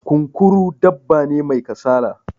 Kunkuru dabba ne mai kasala